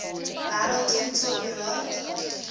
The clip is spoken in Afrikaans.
wêreld voedsel beraad